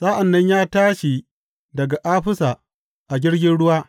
Sa’an nan ya tashi daga Afisa a jirgin ruwa.